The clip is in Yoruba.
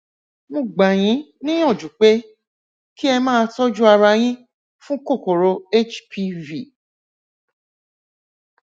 mo gbà yín níyànjú pé kí ẹ máa tọjú ara yín fún kòkòrò hpv